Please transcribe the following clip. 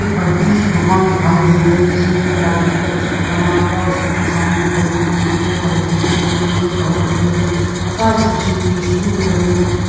एक बड्डी सी दुकान दिखाई दे रहीजिसमे एक लड़की का चित्र बना हुआ हैउसके सामने बेग टंगे हुए पंखे भी लगे हुएबल्ब भी लगे हुए है टाइल्स बिछी हुई हैस्टूल भी लगे हुए है ।